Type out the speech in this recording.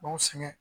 B'anw sɛgɛn